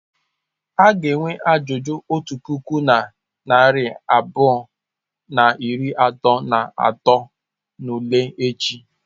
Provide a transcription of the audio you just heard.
A ga-enwe ajụjụ otu puku na narị abụọ na iri atọ na atọ n'ule echi.